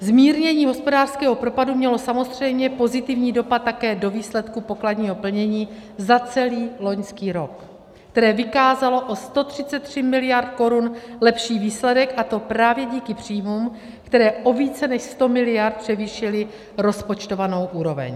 Zmírnění hospodářského propadu mělo samozřejmě pozitivní dopad také do výsledku pokladního plnění za celý loňský rok, které vykázalo o 133 miliard korun lepší výsledek, a to právě díky příjmům, které o více než 100 miliard převýšily rozpočtovanou úroveň.